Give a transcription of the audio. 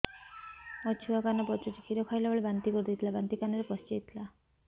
ମୋ ଛୁଆ କାନ ପଚୁଛି କ୍ଷୀର ଖାଇଲାବେଳେ ବାନ୍ତି କରି ଦେଇଥିଲା ବାନ୍ତି କାନରେ ପଶିଯାଇ ଥିଲା